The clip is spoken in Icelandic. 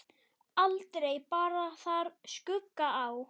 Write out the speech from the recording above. Aldrei bar þar skugga á.